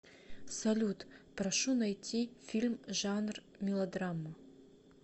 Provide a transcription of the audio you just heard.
салют прошу найти фильм жанр мелодрама